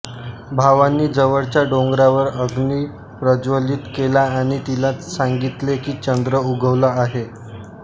भावांनी जवळच्या डोंगरावर अग्नी प्रज्वलित केला आणि तिला सांगितले की चंद्र उगवला आहे